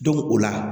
o la